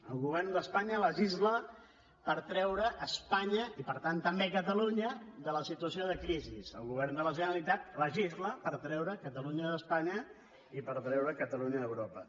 el govern d’espanya legisla per treure espanya i per tant també catalunya de la situació de crisi el govern de la generalitat legisla per treure catalunya d’espanya i per treure catalunya d’europa